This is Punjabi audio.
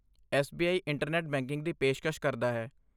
ਐਸ.ਬੀ.ਆਈ. ਇੰਟਰਨੈੱਟ ਬੈਂਕਿੰਗ ਦੀ ਪੇਸ਼ਕਸ਼ ਕਰਦਾ ਹੈ।